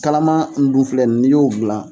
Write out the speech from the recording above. Kalama nin dun filɛ n'i y'o dilan